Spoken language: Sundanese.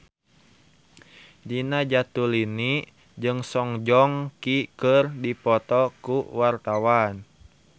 Nina Zatulini jeung Song Joong Ki keur dipoto ku wartawan